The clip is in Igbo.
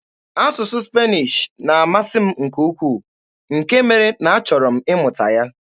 Asụsụ Spanish na-amasị m nke ukwuu, nke mere na a chọrọ m ịmụta ya.